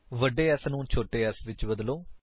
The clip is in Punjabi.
ਵੱਡੇ S ਨੂੰ ਛੋਟੇ s ਵਿੱਚ ਬਦਲੋ